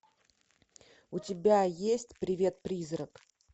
у тебя есть привет призрак